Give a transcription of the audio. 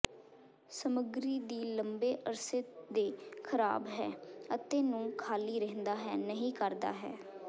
ਸਮੱਗਰੀ ਦੀ ਲੰਬੇ ਅਰਸੇ ਦੇ ਖਰਾਬ ਹੈ ਅਤੇ ਨੂੰ ਖਾਲੀ ਰਹਿੰਦਾ ਹੈ ਨਹੀ ਕਰਦਾ ਹੈ